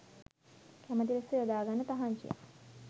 කැමති ලෙස යොදාගන්න තහංචියක්